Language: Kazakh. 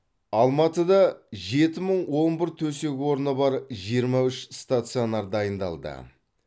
алматыда жеті мың он бір төсек орыны бар жиырма үш стационар дайындалды